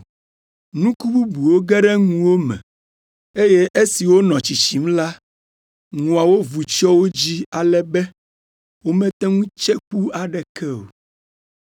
Nuku bubuwo ge ɖe ŋuwo me, eye esi wonɔ tsitsim la, ŋuawo vu tsyɔ wo dzi ale be womete ŋu tse ku aɖeke o.